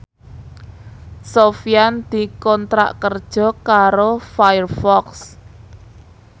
Sofyan dikontrak kerja karo Firefox